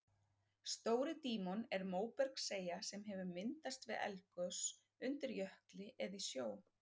Stóri-Dímon er móbergseyja sem hefur myndast við eldgos undir jökli eða í sjó.